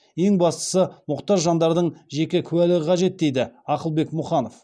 ең бастысы мұқтаж жандардың жеке куәлігі қажет дейді ақылбек мұханов